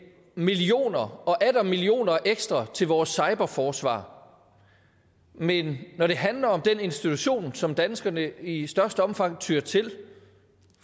millioner og atter millioner ekstra til vores cyberforsvar men når det handler om den institution som danskerne i størst omfang tyer til